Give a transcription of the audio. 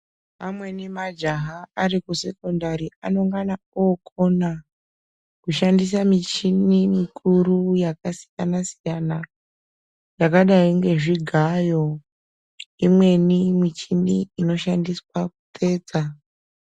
Amweni majaha ari ku sekondari anongana okona ku shandisa michini mikuru yaka siyana siyana yakadai nge zvigayo imweni imweni michini inoshandiswa ku tsetsa.